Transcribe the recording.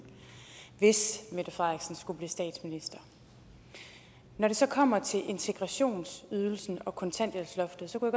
hvis mette frederiksen skulle blive statsminister når det så kommer til integrationsydelsen og kontanthjælpsloftet kunne